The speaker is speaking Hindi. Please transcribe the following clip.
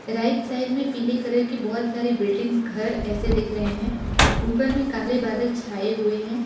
राइट साइड में पीले कलर के बहोत सारे बिल्डिंग्स घर ऐसे दिख रहे हैं ऊपर में काले बादल छाए हुए हैं।